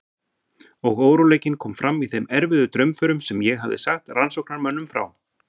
Og óróleikinn kom fram í þeim erfiðu draumförum sem ég hafði sagt rannsóknarmönnum frá.